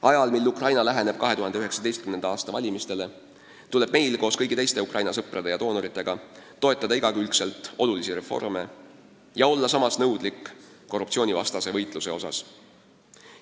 Ajal, mil Ukraina läheneb 2019. aasta valimistele, tuleb meil koos kõigi teiste Ukraina sõprade ja doonoritega toetada igakülgselt olulisi reforme ja olla samas nõudlik korruptsioonivastase võitluse osas.